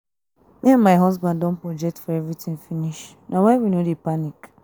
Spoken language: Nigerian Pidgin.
me and my husband don budget for everything finish na why we no dey panic